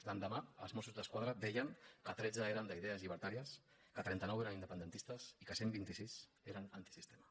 l’endemà els mossos d’esquadra deien que tretze eren d’idees llibertàries que trenta nou eren independentistes i que cent i vint sis eren antisistema